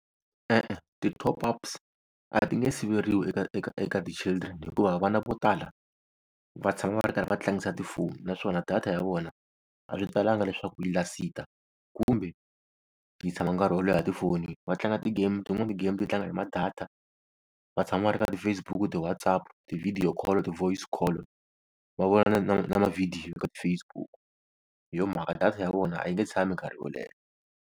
E-e ti-top-ups a ti nge siveriwa eka eka eka ti-children hikuva vana vo tala va tshama va ri karhi va tlangisa tifoni naswona data ya vona a swi talanga leswaku yi lasita kumbe yi tshama nkarhi wo leha tifonini. Va tlanga ti-game tin'wani ti-game ti tlanga hi ma-data. Va tshama va ri ka ti-Facebook, ti-WhatsApp, ti-video call, ti-voice call, va vona na na na ma-video ka ti-Facebook hi yo mhaka data ya vona a yi nge tshami nkarhi wo leha.